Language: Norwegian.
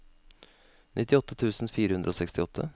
nittiåtte tusen fire hundre og sekstiåtte